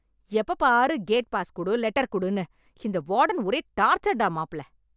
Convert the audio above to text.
எப்போ பாரு gate pass குடு, லெட்டர் குடுனு, இந்த வார்டன் ஒரே டார்ச்சர் டா மாப்ள